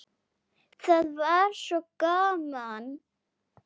Það var svo gaman.